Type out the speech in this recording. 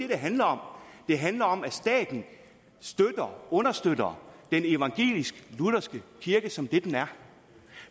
det handler om det handler om at staten understøtter den evangelisk lutherske kirke som det den er